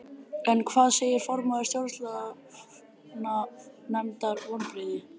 En hvað segir formaður Stjórnlaganefndar, vonbrigði?